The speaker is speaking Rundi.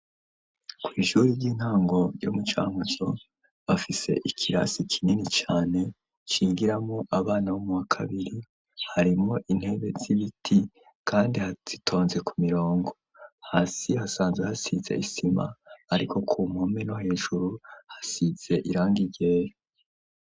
Kw'ishuri ry'intango ryo mucankuzo bafise ikirasi kinini cane cigiramo abana bo mu bakabiri harimo intebe z'ibiti, kandi hazitonze ku mirongo hasi hasanze hasize isima, ariko ku mpome no hejuru hasize irangi ryera.